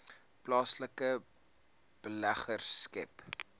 plaaslike beleggers skep